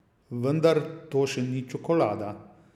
Vendar to še ni čokolada!